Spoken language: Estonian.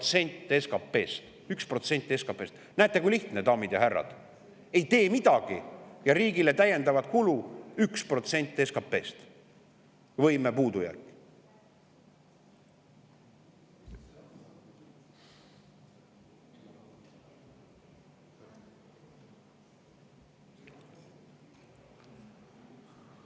See tähendab 1% SKP‑st. Näete, kui lihtne, daamid ja härrad: ei tee midagi ja riigile tuleb täiendavat kulu 1% SKP‑st. Võime puudujääk.